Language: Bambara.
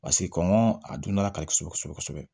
Paseke kɔngɔ a dundala ka di kosɛbɛ kosɛbɛ kosɛbɛ